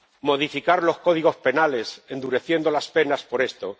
modificar los códigos penales, endureciendo las penas por esto